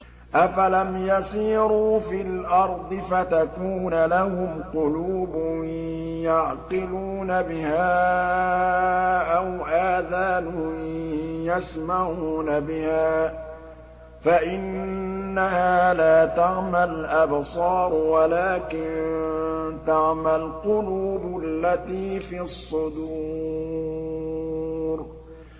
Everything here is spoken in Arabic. أَفَلَمْ يَسِيرُوا فِي الْأَرْضِ فَتَكُونَ لَهُمْ قُلُوبٌ يَعْقِلُونَ بِهَا أَوْ آذَانٌ يَسْمَعُونَ بِهَا ۖ فَإِنَّهَا لَا تَعْمَى الْأَبْصَارُ وَلَٰكِن تَعْمَى الْقُلُوبُ الَّتِي فِي الصُّدُورِ